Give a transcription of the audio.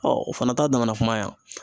o fana ta damana kuma ye